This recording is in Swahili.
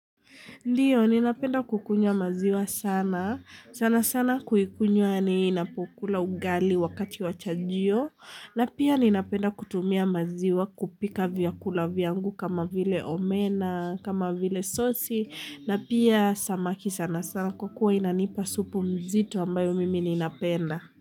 Ndio, ninapenda kukunywa maziwa sana, sana sana kuikunywa ninapokula ugali wakati wa chajio, na pia ninapenda kutumia maziwa kupika vyakula vyangu kama vile omena, kama vile sosi, na pia samaki sana sana kwa kuwa inanipa supu mzito ambayo mimi ninapenda.